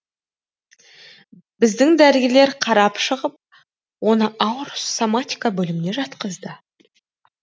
біздің дәрігерлер қарап шығып оны ауыр соматика бөліміне жатқызды